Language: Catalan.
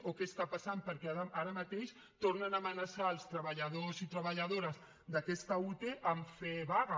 o què està passant perquè ara mateix tornen a amenaçar els treballadors i treballadores d’aquesta ute amb fer vaga